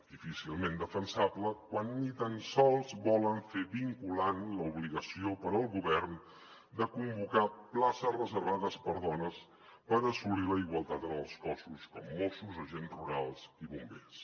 difícilment defensable quan ni tan sols volen fer vinculant l’obligació per al govern de convocar places reservades per a dones per assolir la igualtat en els cossos com a mossos agents rurals i bombers